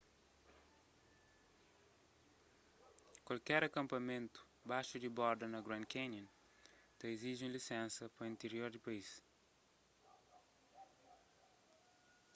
kualker akanpamentu baxu di borda na grand canyon ta iziji un lisénsa pa intirior di país